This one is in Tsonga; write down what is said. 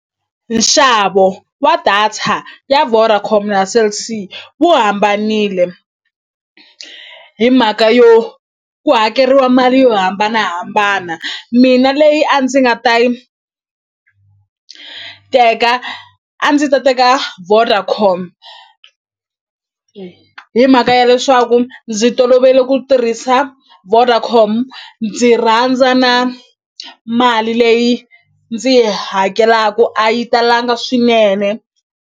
Nxavo wa data ya Vodacom na Cell C wu hambanile hi mhaka yo ku hakeriwa mali yo hambanahambana mina leyi a ndzi nga ta yi ndzi teka a ndzi ta teka Vodacom hi mhaka ya leswaku ndzi tolovele ku tirhisa Vodacom ndzi rhandza na mali leyi ndzi yi hakelaku a yi talanga swinene.